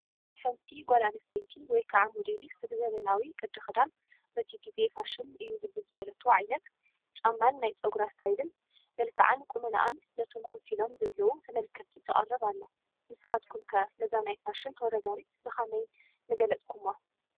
ሓንቲ ጓል ኣነስተይቲ ወይ ከዓ ሞዴሊስት ብዘበናዊ ቅዲ ኽዳን፣ በቲ ጊዜ ፋሽን እዩ ብዝበለቶ ዓይነት ጫማን ናይ ፀጉራ ስታይልን፣ መልክዓን ቁመናኣን ነቶም ከፍ ኢሎም ዘለው ተመልከቲ ተቕርብ ኣላ፡፡ ንስኻትኩም ከ ነዛ ናይ ፋሽን ተወዳዳሪት ብኸመይ ንገለፅኩሟ?